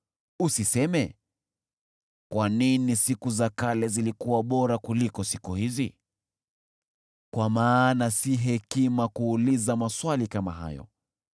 Usiseme, “Kwa nini siku za kale zilikuwa bora kuliko siku hizi?” Kwa maana si hekima kuuliza maswali kama hayo.